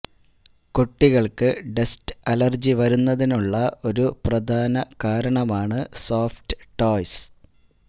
കുട്ടികള്ക്ക് dust allergy വരുന്നതിനുള്ള ഒരു പ്രധാന കാരണമാണ് സോഫ്റ്റ് ടോയ്സ്